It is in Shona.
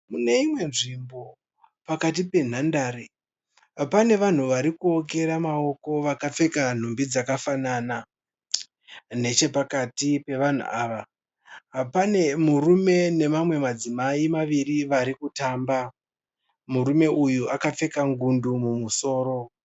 Muneimwe nzvimbo pakati penhandare pane vanhu varikuokera maoko vakapfeka nhumbi dzakafanana. Nechepakati pevanhu ava pane murume nemamwe madzimai maviri varikutamba. Murume uyu akapfeka ngundu mumusoro.